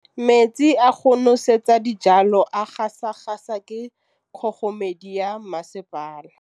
Metsi a go nosetsa dijalo a gasa gasa ke kgogomedi ya masepala.